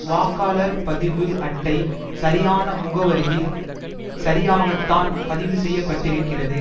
வாக்காளர் பதிவு அட்டை சரியான முகவரியில் சரியாகத்தான் பதிவுசெய்யப்பட்டிருக்கிறது